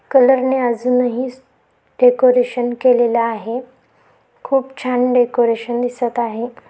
कलरने अजूनही डेकोरेशन केलेलं आहे. खूप छान डेकोरेशन दिसत आहे.